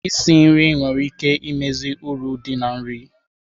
Isi nri nwere ike imezi uru dị na nri.